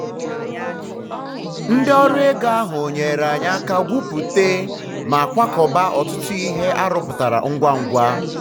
ndị um ọrụ ego ahụ nyeere anyị aka gwuputa um na kwakọba ọtụtụ ihe a rụpụtara ngwa ngwa.